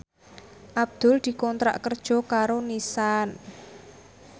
Abdul dikontrak kerja karo Nissan